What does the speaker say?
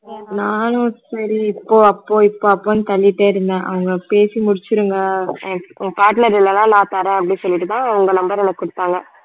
நானும் சரி இப்போ அப்போ இப்போ அப்போனு தள்ளிட்டே இருந்தேன் அவங்க பேசி முடிச்சிருங்க உங்க partner இல்லைன்னா நான் தரேன் அப்படின்னு சொல்லிட்டுதான் உங்க number எனக்கு கொடுத்தாங்க